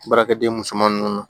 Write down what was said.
Baarakɛden musoman ninnu na